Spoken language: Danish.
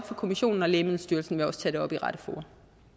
for kommissionen og lægemiddelstyrelsen vil også tage det op i de rette fora